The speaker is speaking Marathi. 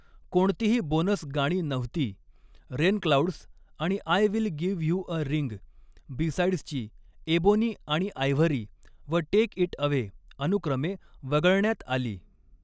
कोणतीही बोनस गाणी नव्हती, 'रेनक्लाऊड्स' आणि'आय will give you a ring', B साइड्सची 'एबोनी आणि आयव्हरी' व 'टेक इट अवे' अनुक्रमे वगळण्यात आली.